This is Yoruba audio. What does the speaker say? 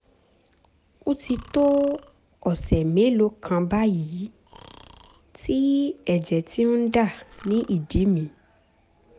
ó ti tó ọ̀sẹ̀ mélòó kan báyìí tí ẹ̀jẹ̀ ti ń dà ní ìdí mi